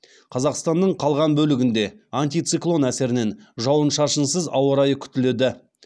қазақстанның қалған бөлігінде антициклон әсерінен жауын шашынсыз ауа райы күтіледі